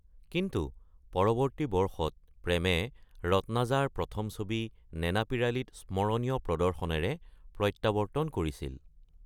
কিন্তু পৰৱৰ্তী বৰ্ষত প্ৰেমে ৰত্নাজাৰ প্ৰথম ছবি নেনাপীৰালীত স্মৰণীয় প্ৰদৰ্শনেৰে প্ৰত্যাৱৰ্তন কৰিছিল।